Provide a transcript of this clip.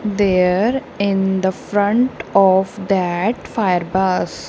there in the front of that fire bus.